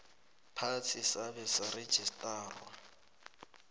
phasi sabe sarejistarwa